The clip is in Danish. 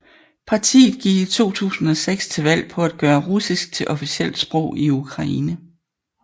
Partiet gik i 2006 til valg på at gøre russisk til officielt sprog i Ukraine